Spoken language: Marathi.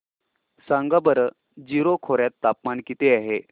सांगा बरं जीरो खोर्यात तापमान किती आहे